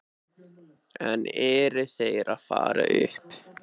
En eru þeir að fara upp?